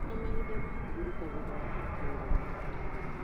Gĩa na mahinda ma kũhurũka thutha wa kũruta wĩra mũritũ.